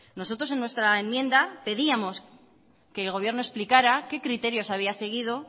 nosotros en nuestra enmienda pedíamos que el gobierno explicará qué criterios había seguido